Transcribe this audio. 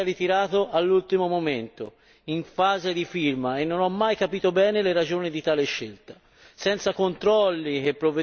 Tale provvedimento fu tuttavia ritirato all'ultimo momento, in fase di firma, e non ho mai capito bene le ragioni di tale scelta.